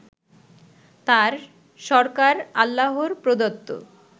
তাঁর সরকার আল্লাহর প্রদত্ত